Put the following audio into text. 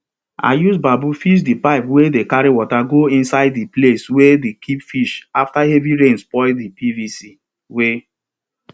i use bamboo fix di pipe wey dey carry water go inside di place we dey keep fish afta heavy rain spoil di pvc wey